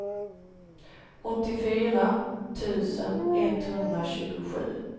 åttiofyra tusen etthundratjugosju